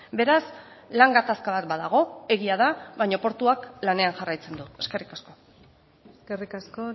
beraz lan gatazka bat badago egia da baina portuak lanean jarraitzen du eskerrik asko eskerrik asko